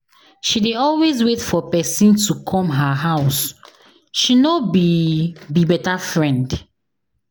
She dey always wait for pesin to come her house, she no be be beta friend.